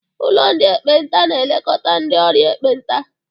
Ụlọ ndị ekpenta na-elekọta ndị ọrịa ekpenta.